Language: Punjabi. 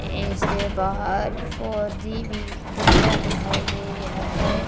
ਇਸਦੇ ਬਾਹਰ ਫੌਜੀ ਵੀ ਲਿੱਖਿਆ ਦਿਖਾਈ ਦੇ ਰਿਹਾ ਹੈ।